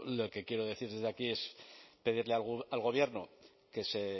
que quiero decir desde aquí es pedirle al gobierno que si